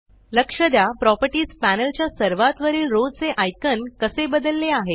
लक्ष द्या properties panel च्या सर्वात वरील रो चे आयकॉन कसे बदलले आहेत